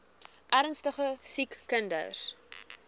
ernstige siek kinders